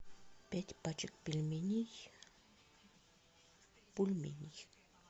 пять пачек пельменей бульменей